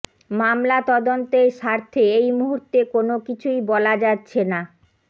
মামলা তদন্তের স্বার্থে এই মুহূর্তে কোনকিছুই বলা যাচ্ছে না